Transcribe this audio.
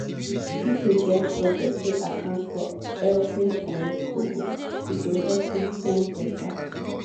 if you get budget wey account for every um kobo e go help you spend better.